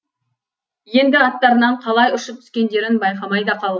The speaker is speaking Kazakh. енді аттарынан қалай ұшып түскендерін байқамай да қалған